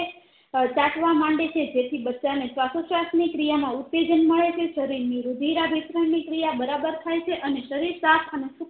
અ ચાટવા માંડે છે જેથી બચ્ચા ને શ્વાસો શ્વાસ ની ક્રિયા માં ઉત્તેજન મળે છે શરીર ની રુધિર ભરિશ્રણ ની ક્રિયા બરાબર થાય છે અને શરીર સાફ અને સુથરું